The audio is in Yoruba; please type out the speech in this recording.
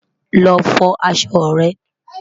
lọ fọ aṣọ rẹ